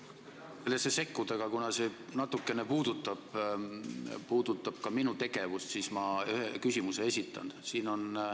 Ei tahtnud sellesse sekkuda, aga kuna see natukene puudutab ka minu tegevust, siis ma ühe küsimuse esitan.